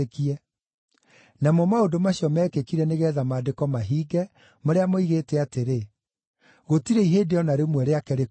Namo maũndũ macio meekĩkire nĩgeetha Maandĩko mahinge marĩa moigĩte atĩrĩ, “Gũtirĩ ihĩndĩ o na rĩmwe rĩake rĩkoinwo.”